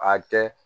A kɛ